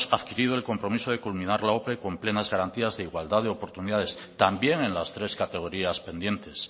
adquirido el compromiso de culminar la ope con plenas garantías de igualdad de oportunidades también en las tres categorías pendientes